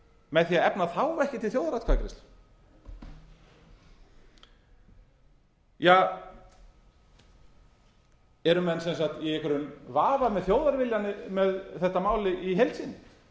með því að efna þá ekki til þjóðaratkvæðagreiðslu eru menn sem sagt í einhverjum vafa um þjóðarviljann um þetta mál í heild sinni